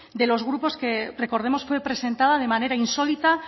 de los grupos que recordemos fue presentada de manera insólita